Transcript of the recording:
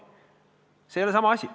See ei ole sama asi.